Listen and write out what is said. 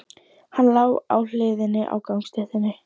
Hann lá á hliðinni á gangstéttinni.